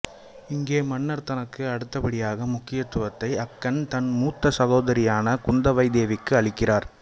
இங்கே மன்னர் தனக்கு அடுத்தபடியாக முக்கியத்துவத்தை அக்கன் தன் மூத்த சகோதரியான குந்தவை தேவிக்கு அளிக்கிறார்